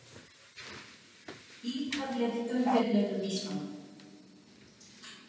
Ítarleg umfjöllun um Ísland